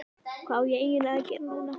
Hvað á ég eiginlega að gera núna???